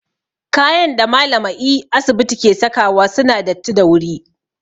Kayan da malamae asibiti ke sakawa suna datti da wuri